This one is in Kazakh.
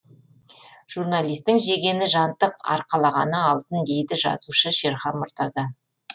журналистің жегені жантық арқалағаны алтын дейді жазушы шерхан мұртаза